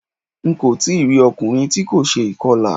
Ń kò tí rí ọkùnrin tí kò ṣe ìkọlà.